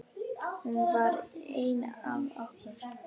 Hún var ein af okkur.